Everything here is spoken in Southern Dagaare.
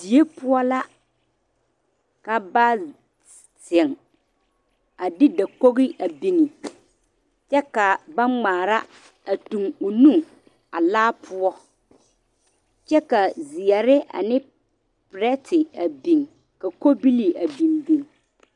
Die poɔ la ka ba zeŋ a de dakogi biŋ kyɛ ka ba ŋmaare a tuŋ o nu a laa poɔ kyɛ ka ziɛre ne pireti biŋ ka kobilee biŋ biŋ.